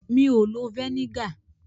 Mi ò lo vẹ́nígà.